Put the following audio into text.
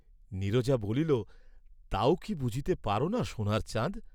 নীরজা বলিল, তাও কি বুঝতে পার না সোণার চাঁদ?